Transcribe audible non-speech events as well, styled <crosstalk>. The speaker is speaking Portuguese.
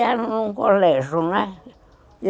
<unintelligible> num colégio, né?